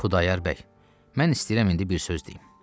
Xudayar bəy, mən istəyirəm indi bir söz deyim.